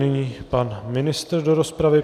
Nyní pan ministr do rozpravy.